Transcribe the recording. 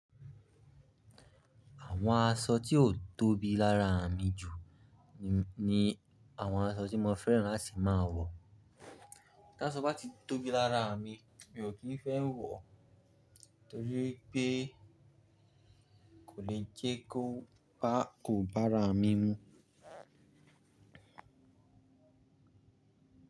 Àwọn aṣọ tí o tóbi lára mi jù ní àwọn aṣọ tí mo fẹ́ràn láti máa wọ̀. Ta aṣọ bá ti tóbi lára mi mi ò kí ń fẹ́ wọ̀ó torí pé kò le jẹ́ kó bá kò bá ra mí mú.